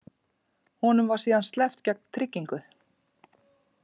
Honum var síðan sleppt gegn tryggingu